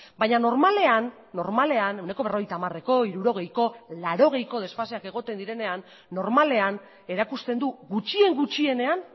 baina normalean normalean ehuneko berrogeita hamareko hirurogeiko laurogeiko desfaseak egoten direnean normalean erakusten du gutxien gutxienean